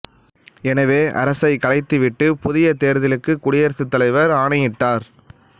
எனவே அரசை கலைத்து விட்டு புதிய தேர்தலுக்கு குடியரசுத் தலைவர் ஆணையிட்டார்